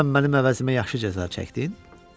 Dünən mənim əvəzimə yaxşı cəza çəkdin?